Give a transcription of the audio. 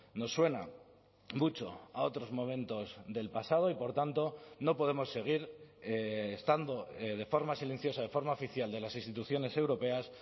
nos suena mucho a otros momentos del pasado y por tanto no podemos seguir estando de forma silenciosa de forma oficial de las instituciones europeas